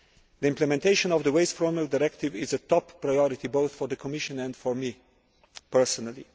The implementation of the waste directive is a top priority both for the Commission and for me personally.